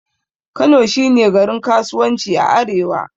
Kano shi ne garin kasuwanci a arewa.